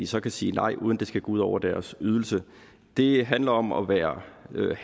så kan sige nej uden at det skal gå ud over deres ydelse det handler om at være